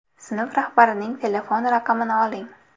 Sinf rahbarining telefon raqamini oling.